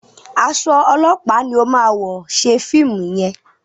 Aṣọ ọlọpa ní o má wọ ṣe fíìmù yén.